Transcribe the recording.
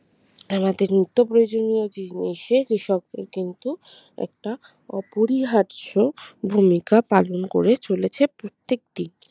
আমাদের নিত্য প্রয়োজনীয় জিনিসে কৃষকদের কিন্তু একটা অপরিহার্য ভূমিকা পালন করে চলেছে প্রত্যেকদিন